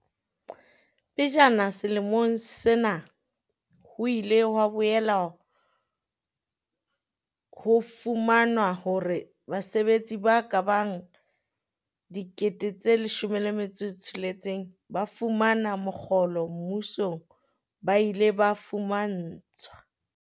Pejana selemong sena, ho ile ha boela ho fumanwa hore basebetsi ba kabang dikete tse leshome le metso e tsheletseng ba fumana mokgolo mmusong ba ile ba fumantshwa.